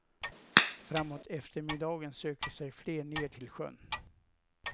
Framåt eftermiddagen söker sig fler ner till sjön.